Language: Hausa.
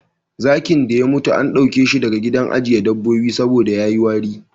Zakin da ya mutu an ɗauke shi daga gidan ajiye dabobbi saboda ya yi wari.,